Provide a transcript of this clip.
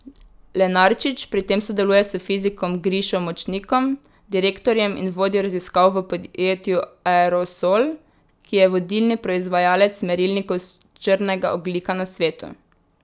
Lenarčič pri tem sodeluje s fizikom Grišo Močnikom, direktorjem in vodjo raziskav v podjetju Aerosol, ki je vodilni proizvajalec merilnikov črnega ogljika na svetu.